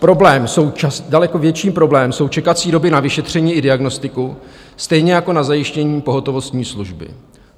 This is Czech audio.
Daleko větší problém jsou čekací doby na vyšetření a diagnostiku, stejně jako na zajištění pohotovostní služby.